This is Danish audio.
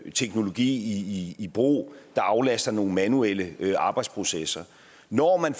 teknologi i brug der aflaster nogle manuelle arbejdsprocesser når man